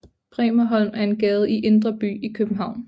Bremerholm er en gade i Indre By i København